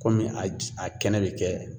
Kɔmi a j a kɛnɛ be kɛ